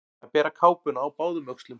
Að bera kápuna á báðum öxlum